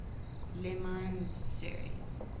le mans series